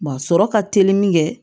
sɔrɔ ka teli min kɛ